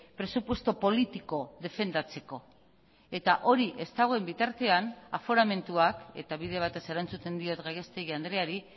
presupuesto politiko defendatzeko eta hori ez dagoen bitartean aforamentuak eta bide batez erantzuten diot gallastegui andreari